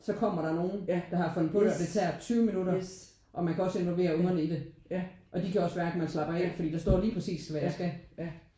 Så kommer der nogen der fundet på det og det tager 20 minutter og man kan også involvere ungerne i det og de kan også mærke man slapper af fordi der står lige præcis hvad det er jeg skal